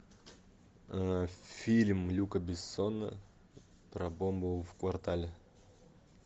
фильм люка бессона про бомбу в квартале